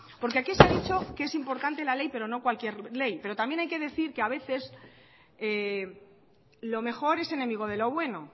porque aquí se ha dicho que es importante la ley pero no cualquier ley pero también hay que decir que a veces lo mejor es enemigo de lo bueno